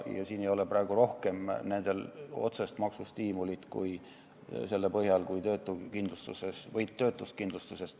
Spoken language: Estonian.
Siin ei ole neil praegu rohkem otsest maksustiimulit kui töötuskindlustuses.